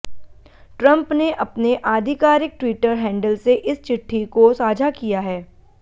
Trump ने अपने आधिकारिक ट्विटर हैंडल से इस चिट्ठी को साझा किया है